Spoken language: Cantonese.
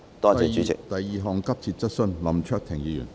第二項急切質詢。